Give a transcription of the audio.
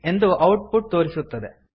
ಎಂದು output ತೋರಿಸುತ್ತದೆ